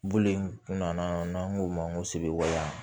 Bulu in kun nana n'an k'o ma ko segu yan